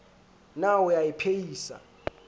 na o a e phehisa